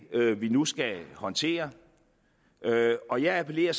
vi nu skal håndtere og jeg appellerer